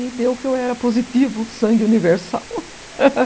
E deu que eu era positivo, sangue universal.